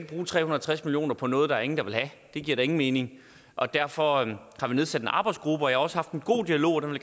bruge tre hundrede og tres million kroner på noget der er ingen der vil have det giver da ingen mening derfor har vi nedsat en arbejdsgruppe og jeg har også haft en god dialog og det vil